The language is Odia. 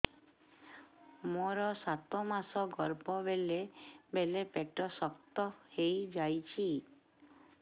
ମୋର ସାତ ମାସ ଗର୍ଭ ବେଳେ ବେଳେ ପେଟ ଶକ୍ତ ହେଇଯାଉଛି